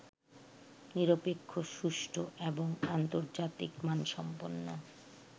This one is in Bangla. নিরপেক্ষ, সুষ্ঠু এবং আন্তর্জাতিক মানসম্পন্ন